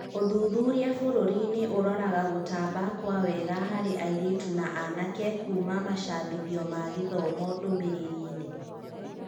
ũthuthuria bũrũri-inĩ ũraroraga gũtamba kwa wega hari airĩtu na anake kuuma macabithĩthio ma gĩthomo ndũmĩrĩriinĩ.